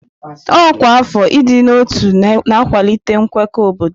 Ọkwa afọ ịdị na ọtú na-akwalite nkwekọ obodo.